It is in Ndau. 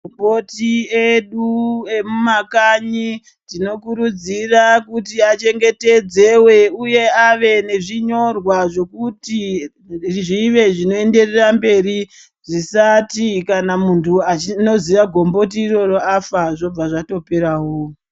Makomboti edu emumakanyi tinokurudzira kuti achengetedzewe uye ave nezvinyorwa zvekuti zvive zvinoenderera mberi. Zvisati kana munhu anoziva gomboti iroro afa zvobva zvatoperawo.